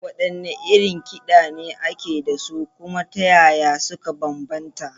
Waɗanne irin kiɗa ne ake da su, kuma ta yaya suka bambanta?